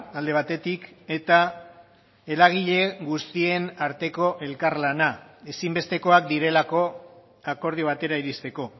alde batetik eta eragile guztien arteko elkarlana ezinbestekoak direlako akordio batera iristeko